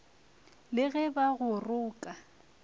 le ge ba go roka